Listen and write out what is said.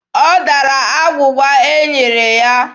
Ọ dara agwụgwa e nyere ya.